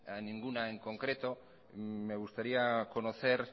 a ninguna en concreto me gustaría conocer